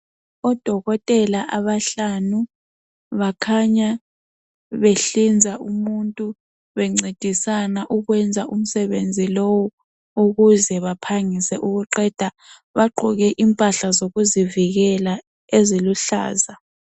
Odokotela abahlanu bakhanya behlinza umuntu, bencedisana ukwenza umsebenzi lowu ukuze baphangise ukuqeda. Bagqoke impahla zokuzivikela eziluhlaza